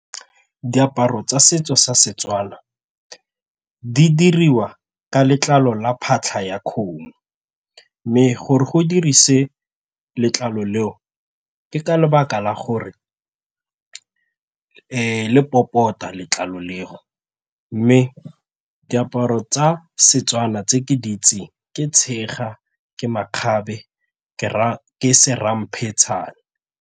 Diaparo tsa setso sa Setswana di diriwa ka letlalo la phatlha ya kgomo mme gore go dirise letlalo leo ke ka lebaka la gore le popota letlalo leo mme diaparo tsa Setswana tse ke di itseng ke tshega, ke makgabe, ke se .